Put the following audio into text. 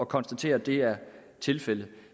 konstatere at det er tilfældet